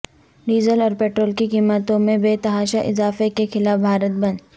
diesel اور petrol کی قیمتوں میں بے تحاشہ اضافہ کے خلاف بھارت بند